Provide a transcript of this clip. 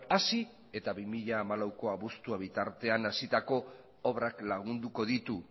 hasi eta bi mila hamalauko abuztua bitartean hasitako obrak lagunduko ditu